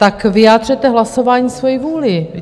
Tak vyjádřete hlasováním svoji vůli.